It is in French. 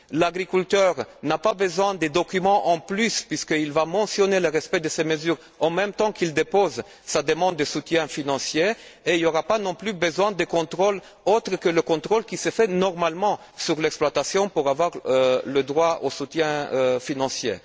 L'agriculteur n'a pas besoin de documents supplémentaires puisqu'il va mentionner le respect de ces mesures en même temps qu'il déposera sa demande de soutien financier et il n'aura pas non plus besoin d'un contrôle autre que celui qui se fait normalement sur l'exploitation afin d'obtenir le droit au soutien financier.